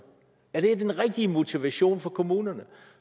er det den rigtige motivation for kommunerne